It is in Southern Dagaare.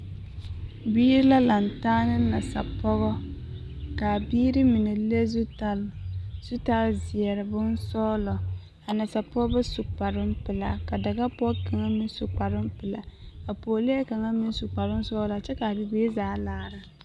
Biiri la lantaa ne nasapɔɡɔ ka a biiri mine le zutal ka o taa zeɛr bonsɔɡelɔ ka a nasapɔɡe su kparoo pelaa ka a daɡapɔɡe meŋ su kparoo pelaa ka a pɔɔlee kaŋ meŋ su kparoo sɔɔlaa kyɛ ka a bibiiri zaa laara.